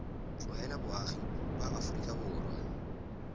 tlogela boagi ba aforika borwa